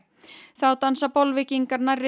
þá dansa Bolvíkingar nærri